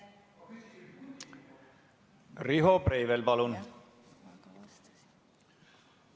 Riho Breivel, palun!